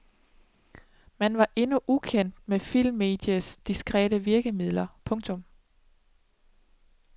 Man var endnu ukendt med filmmediets diskrete virkemidler. punktum